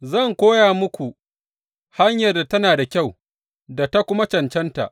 Zan koya muku hanyar da tana da kyau da ta kuma cancanta.